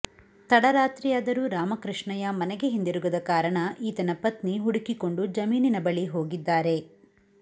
ತಡರಾತ್ರಿಯಾದರ ರಾಮಕೃಷ್ಣಯ್ಯ ಮನೆಗೆ ಹಿಂದಿರುಗದ ಕಾರಣ ಈತನ ಪತ್ನಿ ಹುಡುಕಿಕೊಂಡು ಜಮೀನಿನ ಬಳಿ ಹೋಗಿದ್ದಾರೆ